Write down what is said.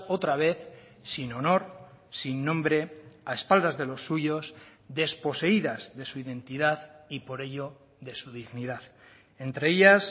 otra vez sin honor sin nombre a espaldas de los suyos desposeídas de su identidad y por ello de su dignidad entre ellas